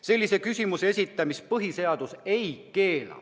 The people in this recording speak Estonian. Sellise küsimuse esitamist põhiseadus ei keela.